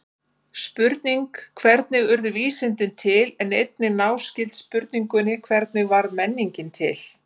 Spurningin hvernig urðu vísindi til er einnig náskyld spurningunni hvernig varð menningin til?